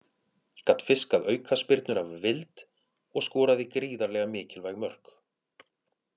Gat fiskað aukaspyrnur af vild og skoraði gríðarlega mikilvæg mörk.